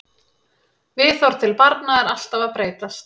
Viðhorf til barna eru alltaf að breytast.